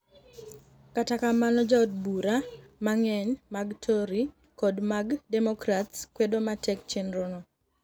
kata kamano jood bura mang'eny mag Tory kod mag Democrats kwedo matek chenro no.